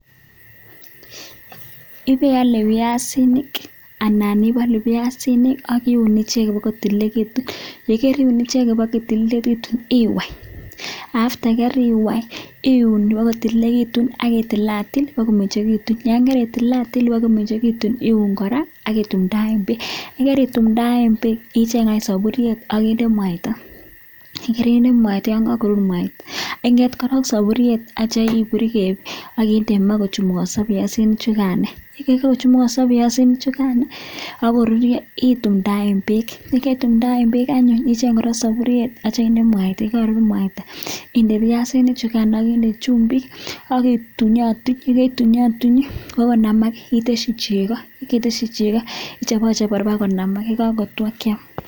ipialeee piasinik anan ipalu piasinik akiun icheget ipakotililitu akitil atil ipakomengechitu atya icheng anyuun saburiet vakinda maah akindee mwaita akindee chumbikk ak ikurakur ipakoruryo kom, nyeee